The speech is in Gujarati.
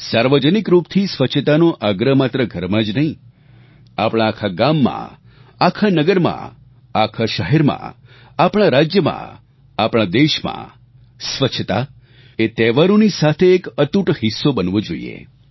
સાર્વજનિક રૂપથી સ્વચ્છતાનો આગ્રહ માત્ર ઘરમાં જ નહીં આપણા આખા ગામમાં આખા નગરમાં આખા શહેરમાં આપણા રાજ્યમાં આપણા દેશમાં સ્વચ્છતા એ તહેવારોની સાથે એક અતૂટ હિસ્સો બનવો જ જોઈએ